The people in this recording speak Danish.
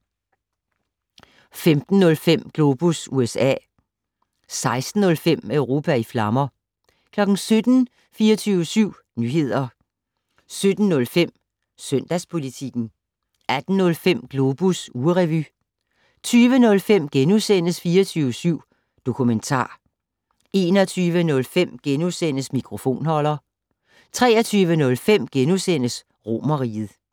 15:05: Globus USA 16:05: Europa i flammer 17:00: 24syv Nyheder 17:05: Søndagspolitikken 18:05: Globus ugerevy 20:05: 24syv Dokumentar * 21:05: Mikrofonholder * 23:05: Romerriget *